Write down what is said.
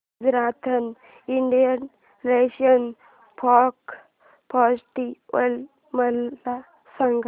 Rajasthan international folk festival मला सांग